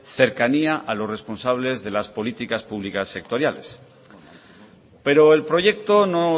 cercanía a los responsables de las políticas públicas sectoriales pero el proyecto no